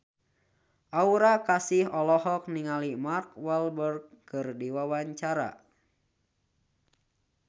Aura Kasih olohok ningali Mark Walberg keur diwawancara